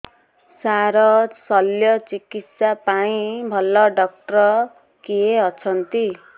ସାର ଶଲ୍ୟଚିକିତ୍ସା ପାଇଁ ଭଲ ଡକ୍ଟର କିଏ ଅଛନ୍ତି